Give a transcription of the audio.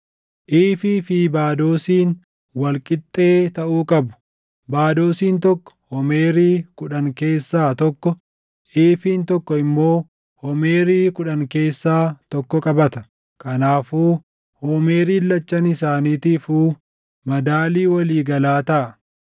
Iifii fi baadoosiin wal qixxee taʼuu qabu; baadoosiin tokko homeerii + 45:11 Homeeriin tokko kiiloo giraamii 400. kudhan keessaa tokko, iifiin tokko immoo homeerii kudhan keessaa tokko qabata; kanaafuu homeeriin lachan isaaniitiifuu madaalii walii galaa taʼa.